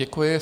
Děkuji.